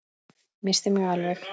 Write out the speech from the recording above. Missti mig alveg!